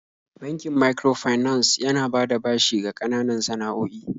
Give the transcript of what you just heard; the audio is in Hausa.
Bankin microfinance yana bada bashi ga ƙananan san'a'oi.